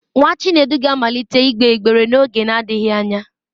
Nwa Chinedu ga-amalite ịgbe ịgbere n'oge adịghị anya.